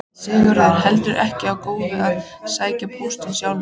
Sigurður heldur ekki of góður að sækja póstinn sjálfur.